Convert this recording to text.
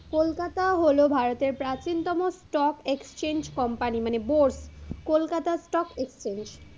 কলকাতা হলো ভারতের প্রাচীনতম stock exchange company মানে board, কলকাতা stock exchange,